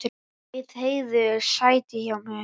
Bauð Heiðu sæti hjá mér.